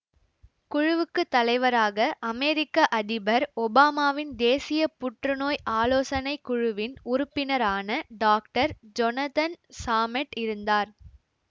குழுவுக்கு தலைவராக அமெரிக்க அதிபர் ஒபாமாவின் தேசிய புற்றுநோய் ஆலோசனை குழுவின் உறுப்பினரான டாக்டர் ஜொனத்தன் சாமெட் இருந்தார்